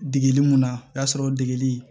Degeli mun na o y'a sɔrɔ o degeli